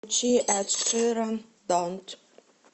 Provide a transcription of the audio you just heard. включи эд ширан донт